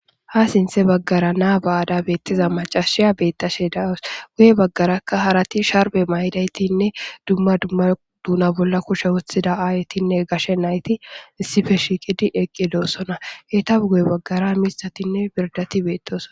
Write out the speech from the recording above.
Ha sinthe baggara naa ba7ada hemettiza macashiya beettashe dawus. guye baggaraka harati sharbe maydaytinne dumma dumma duuna bolla kushe wothida aayetinne gashe nayti issippe shiqidi eqqidoossona. eta guye baggara mithatinne birdati beettoson.